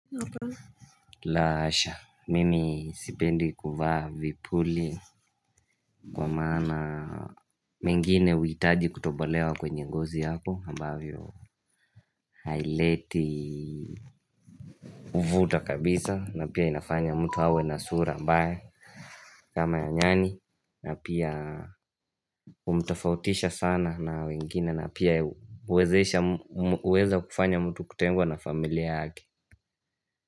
Laa hasha, mimi sipendi kuvaa vipuli kwa maana mengine huhitaji kutobolewa kwenye ngozi yako ambavyo haileti huvuta kabisa na pia inafanya mtu awe na sura mbaya kama ya nyani na pia humtofautisha sana na wengine na pia huweza kufanya mtu kutengwa na familia yake.